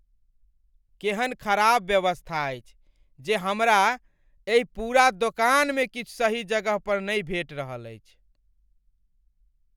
केहन खराब व्यवस्था अछि जे हमरा एहि पूरा दोकानमे किछु सही जगहपर नहि भेट रहल अछि।